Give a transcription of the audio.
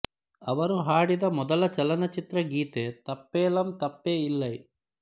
ಅವರು ಹಾಡಿದ ಮೊದಲ ಚಲನಚಿತ್ರ ಗೀತೆ ತಪ್ಪೆಲಾಮ್ ತಪ್ಪೆ ಇಲ್ಲೈ